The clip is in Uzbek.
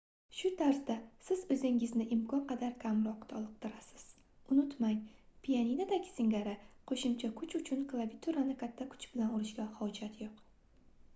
shu tarzda siz oʻzingizni imkon qadar kamroq toliqtirasiz unutmang pianinodagi singari qoʻshimcha kuch uchun klaviaturani katta kuch bilan urishga hojat yoʻq